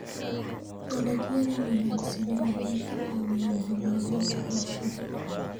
Dalagyada wanaagsani waxay ka caawiyaan horumarinta bulshada.